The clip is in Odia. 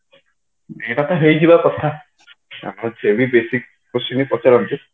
ଏଇଟା ତ ହେଇଯିବ କଥା ସେ ବି basic question ହିଁ ପଚାରନ୍ତି